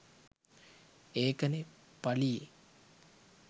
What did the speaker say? ඒකනේ පලියේ